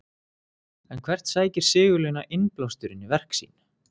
En hvert sækir Sigurlína innblásturinn í verk sín?